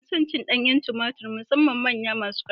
Ina son cin danyen tumatur musamman manyan masu ƙarfi